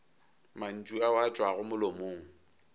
mantšu ao a tšwago molomong